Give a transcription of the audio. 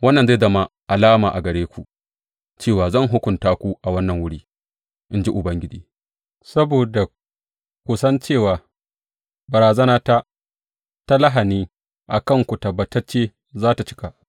Wannan zai zama alama a gare ku cewa zan hukunta ku a wannan wuri,’ in ji Ubangiji, saboda ku san cewa barazanata ta lahani a kanku tabbatacce za tă cika.’